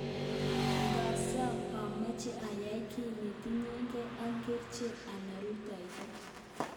Ngasob ameche ayai ki netinyegei ak kerichek anan rutoito